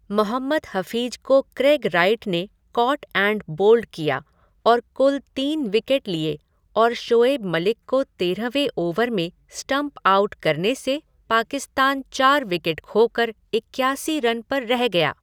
मोहम्मद हफीज को Craig Wright ने caught and bowled किया और कुल तीन विकेट लिए और शोएब मलिक को तेरहवें ओवर में स्टम्प आउट करने से पाकिस्तान चार विकट खोकर इक्यासी रन पर रह गया।